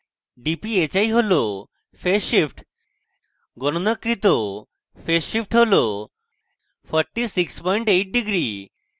dphi হল phase shift গণনাকৃত phase shift হল 468 degrees